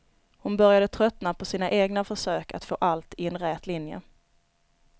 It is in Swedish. Hon började tröttna på sina egna försök att få allt i en rät linje.